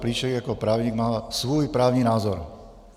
Plíšek jako právník má svůj právní názor.